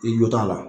I jɔ t'a la